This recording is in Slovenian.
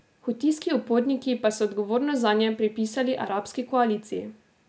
Hutijski uporniki pa so odgovornost zanje pripisali arabski koaliciji.